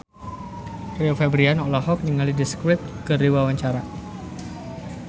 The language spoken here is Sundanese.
Rio Febrian olohok ningali The Script keur diwawancara